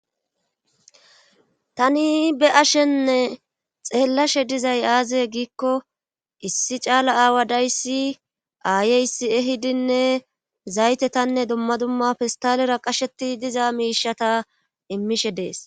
tani be ashenne xeellashe dizay aazaye giikko issi caala aawa dayssi aayeysi ehidinne zaytetanne dumma dumma pistalera qasheti diza miishata immishe dees